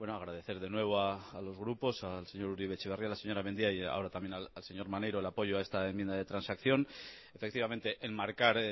agradecer de nuevo a los grupos al señor uribe etxeberria la señora mendia y ahora también al señor maneiro el apoyo a esta enmienda de transacción efectivamente enmarcar